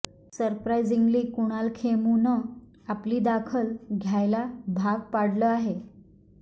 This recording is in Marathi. सरप्रायझिंगली कुणाल खेमूनं आपली दखल घ्यायला भाग पाडलं आहे